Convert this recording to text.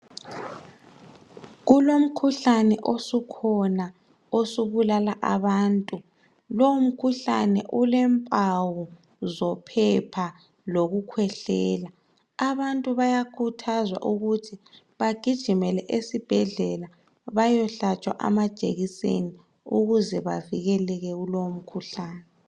Kulomkhuhlane osukhona osubulala abantu lowu mkhuhlane ulempawu zophepha lokukhwehlela abantu bayakhuthazwa ukuthi bagijimele esibhedlela bayehlatshwa amajekiseni ukuze bavikeleke kulowo mkhuhlane.